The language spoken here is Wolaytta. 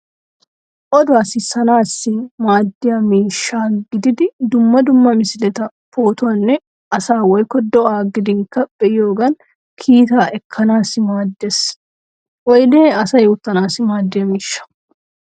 Oduwa sissanaassi maaddiya miishsha gididi dumma dumma misileta, poototanne asaa woykko do'a gidinkka be'iyogan kiita ekkanaassi maaddeees. Oyde asay uttanaassi maaddiya miishsha.